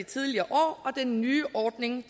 tidligere år og den nye ordning